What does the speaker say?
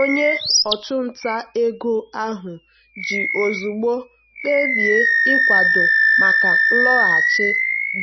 onye ọchụnta ego ahụ ji ozugbo kpebie ịkwado maka nlọghachi